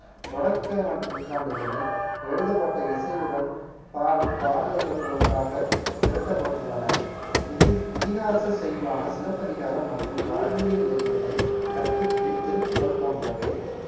தொடக்க மற்~ நூற்றாண்டுகளில் எழுதப்பட்ட இசையுடன் பாடும் பாடல்கள் ஒன்றாக திரட்டப்பட்டுள்ளன இதி~ இதிகாச செய்யுளான சிலப்பதிகாரம் மற்றும் வாழ்வியல் நெறிகளை கற்பிக்கும் திருக்குறள் போன்றவை